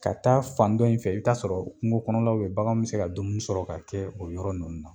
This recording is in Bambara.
Ka taa fan dɔ in fɛ i t'a sɔrɔ kungo kɔnɔlaw be ye baganw mi se ka dumuni sɔrɔ ka kɛ o yɔrɔ ninnu na